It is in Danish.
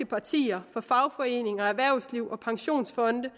partier fagforeninger erhvervsliv og pensionsfonde